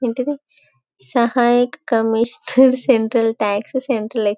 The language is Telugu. ఆంటీ ఇది సహాయ కమీషనర్ సెంట్రల్ టాక్స్ సెంట్రల్ --